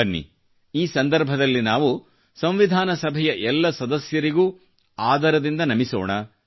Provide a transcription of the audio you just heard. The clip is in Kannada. ಬನ್ನಿ ಈ ಸಂದರ್ಭದಲ್ಲಿ ನಾವು ಸಂವಿಧಾನ ಸಭೆಯ ಎಲ್ಲ ಸದಸ್ಯರಿಗೂ ಆದರದಿಮದ ನಮಿಸೋಣ